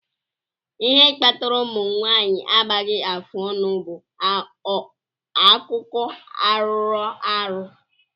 Ihe kpatara ụmụ nwanyị agbaghi afụọnụ bú akụkọ arọrọ arọ.